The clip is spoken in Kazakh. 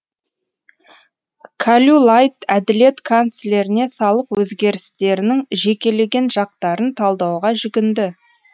кальюлайд әділет канцлеріне салық өзгерістерінің жекелеген жақтарын талдауға жүгінді